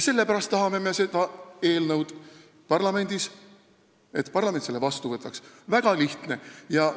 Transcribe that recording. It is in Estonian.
Sellepärast me tahamegi, et parlament selle eelnõu vastu võtaks – väga lihtne!